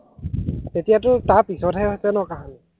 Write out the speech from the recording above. তেতিয়াটো তাৰ পিছতহে হৈছে ন কাহানী